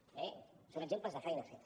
bé són exemples de feina feta